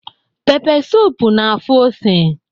Pepe suup na-afụ ose